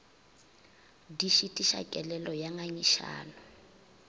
di šitiša kelelo ya ngangišano